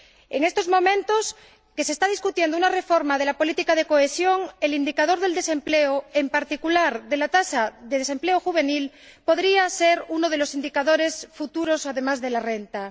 En estos momentos en los que se está discutiendo una reforma de la política de cohesión, el indicador del desempleo, en particular de la tasa de desempleo juvenil, podría ser uno de los indicadores futuros además de la renta.